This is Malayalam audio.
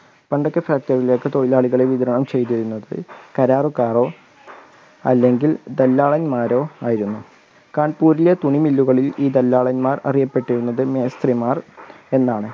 പണ്ട് ഒക്കെ factory ലേക്ക് വിതരണം ചെയ്തിരുന്നത് കരാറുക്കാരോ അല്ലേങ്കിൽ ദല്ലാളന്മാരോ ആയിരുന്നു കാൺപൂരിലെ തുണി മില്ലുകളിൽ ഈ ദല്ലാളന്മാർ അറിയപ്പെട്ടിരുന്നത് മേസ്ത്രിമാർ എന്നാണ്.